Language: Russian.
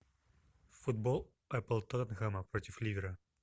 футбол апл тоттенхэма против ливера